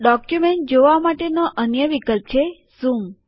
document જોવા માટેનો અન્ય વિકલ્પ છે ઝૂમ